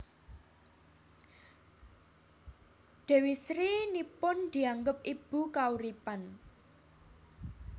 Dewi Sri nipun dianggep ibu kauripan